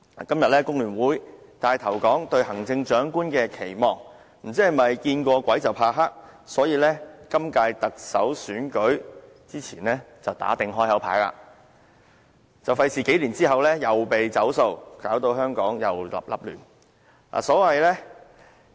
今天工聯會帶頭說出"對行政長官的期望"，不知是否因為"見過鬼怕黑"而致，所以今屆特首選舉前打定"開口牌"，免得數年後又被"走數"，又搞到香港零亂不堪。